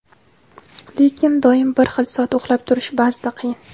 lekin doim bir xil soat uxlab turish ba’zida qiyin.